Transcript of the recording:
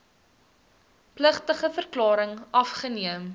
plegtige verklaring afgeneem